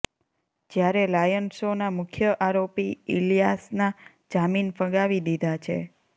જ્યારે lion show ના મુખ્ય આરોપી ઇલ્યાસના જામીન ફગાવી દીધા છે